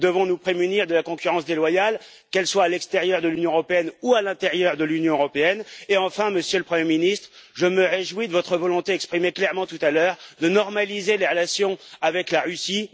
Nous devons nous prémunir de la concurrence déloyale, qu'elle vienne de l'extérieur de l'Union européenne ou de l'intérieur de l'Union européenne, et enfin, Monsieur le Premier Ministre, je me réjouis de votre volonté exprimée clairement tout à l'heure de normaliser les relations avec la Russie.